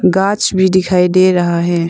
कांच भी दिखाई दे रहा है।